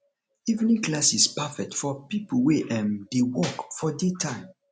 evening classes perfect for people wey um dey work for daytime